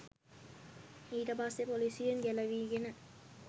ඊටපස්සේ පොලිසියෙන් ගැළවීගෙන